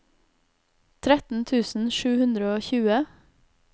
tretten tusen sju hundre og tjue